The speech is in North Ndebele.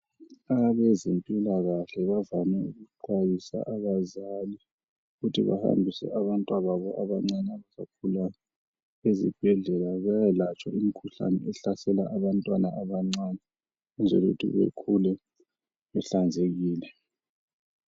Abezempilakahke bande ukuxwayisa abazali, ukuthi bahambise abantwababo abancane abagulayo ezibhedlela. Bayekwelatshwa imikhuhlane ehlasela abantwana abancane. Ukwenzela ukuthi bekhule behlanzekile,